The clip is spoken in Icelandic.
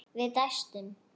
Við dæstum.